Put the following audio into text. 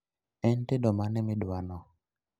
En tedo mane midwano?